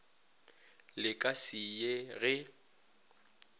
le ka se ye ge